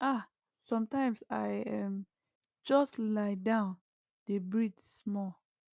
ah sometimes i um just lie down dey breathe small